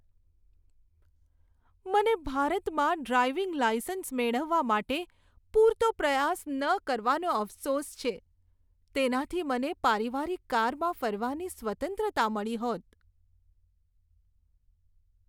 મને ભારતમાં driving licence મેળવવા માટે પૂરતો પ્રયાસ ન કરવાનો અફસોસ છે. તેનાથી મને પારિવારિક કારમાં ફરવાની સ્વતંત્રતા મળી હોત.